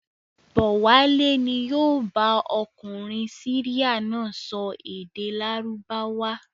Bọ̀wálé ni yóò bá ọkùnrin Syria náà sọ èdè Lárúbáwá.